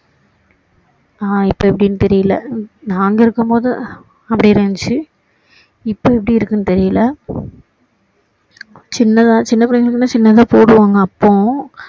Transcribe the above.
ஆஹ் இப்போ எப்படின்னு தெரியல நாங்க இருக்கும் போது அப்படி இருந்துச்சு இப்போ எப்படி இருக்குன்னு தெரியல சின்னதா சின்ன பிள்ளைங்களுக்குலாம் சின்னதா போடுவாங்க அப்போ